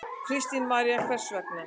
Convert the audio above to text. Kristín María: Hvers vegna?